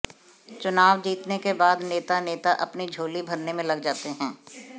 चुनाव जीतने के बाद नेता नेता अपनी झोली भरने में लग जाते हैं